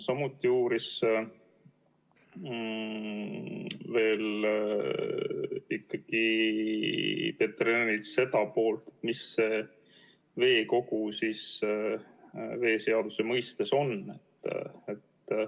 Samuti uuris Peeter Ernits seda poolt, mis see veekogu siis veeseaduse mõistes on.